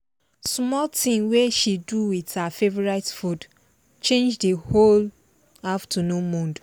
small thing wey she do with her favorite food change di whole afternoon mood